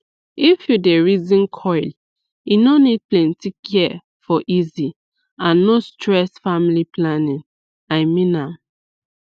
if u dey reason coil e no need plenty care for easy and no stress family planning i mean am